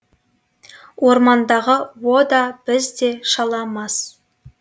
орман дағы о да біз де шала мас